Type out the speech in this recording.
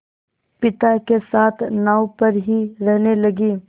पिता के साथ नाव पर ही रहने लगी